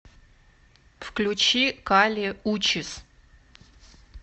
включи кали учис